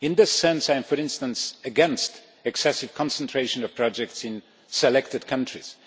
In this sense, I am, for instance, against excessive concentration of projects in selected countries.